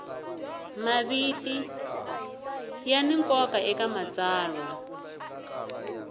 maviti ya ni nkoka eka matsalwa